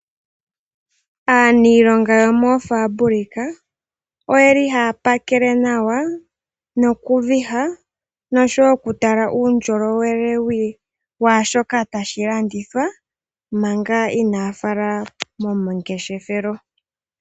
Aanilongo yomoo fabric oyeli haya pakele nawa noku viha, nosho wo oku tala uundjolowele waa shoka tashi landithwa manga Inaa ya fala momangeshefelo.